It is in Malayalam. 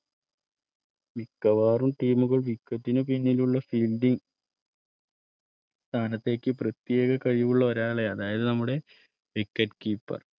മിക്കവാറും Team കൾ wicket ന് പിന്നിലുള്ള സ്ഥാനത്തേക്ക് പ്രത്യേക കഴിവുള്ള ഒരാളെ അതായത്നമ്മുടെ wicket keeper